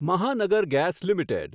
મહાનગર Gas limited